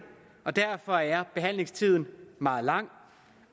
og derfor er behandlingstiden meget lang